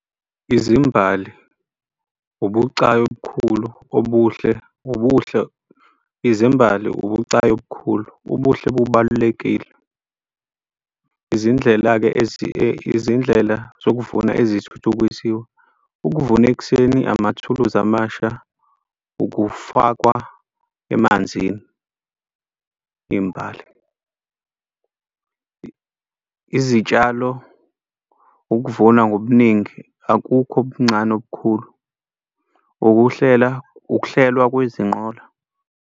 Izimbali, ubucayi obukhulu obuhle, ubuhle, izimbali, ubucayi obukhulu. Ubuhle bubalulekile izindlela-ke izindlela zokuvuna ezithuthukisiwe. Ukuvuna ekuseni, amathuluzi amasha, ukufakwa emanzini imbali, izitshalo, ukuvunwa ngobuningi akukho obuncane obukhulu, ukuhlela, ukuhlelwa kwezinqola.